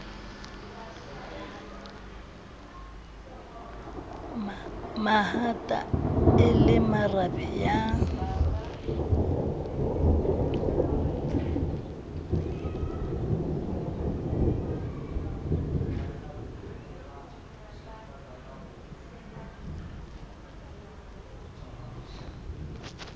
mahata e le marabe ya